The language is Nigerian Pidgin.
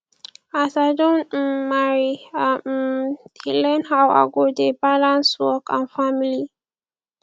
as i don um marry i um dey learn how i go dey balance work and family